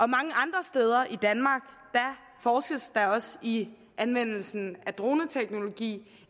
mange andre steder i danmark forskes der også i anvendelsen af droneteknologi